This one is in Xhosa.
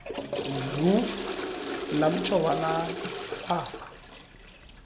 ndlu lamtsho walamba